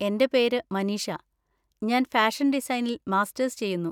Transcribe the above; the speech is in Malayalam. എന്റെ പേര് മനീഷ, ഞാൻ ഫാഷന്‍ ഡിസൈനിൽ മാസ്റ്റേഴ്സ് ചെയ്യുന്നു.